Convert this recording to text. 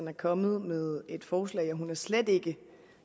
er kommet med et forslag og hun er slet ikke